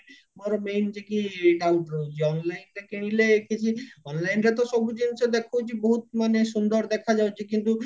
ମୋର main ଟିକେ doubt ରହୁଛି onlineରେ କିଣିଲେ କିଛି onlineରେ ତ ସବୁ ଜିନିଷ ଦେଖଉଚି ବହୁତ ମାନେ ସୁନ୍ଦର ଦେଖା ଯାଉଚି କିନ୍ତୁ